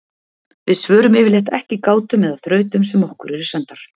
við svörum yfirleitt ekki gátum eða þrautum sem okkur eru sendar